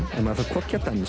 að maður þarf hvorki að